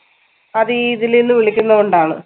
അതീ ഇതിലീന്ന് വിളിക്കുന്നോണ്ടാണ്